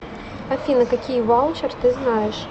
афина какие ваучер ты знаешь